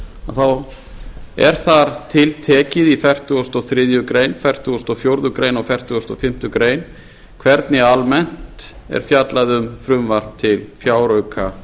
þá er þar tiltekið í fertugustu og þriðju grein fertugustu og fjórðu greinar og fertugasta og fimmtu grein hvernig almennt er fjallað um frumvarp til fjáraukalaga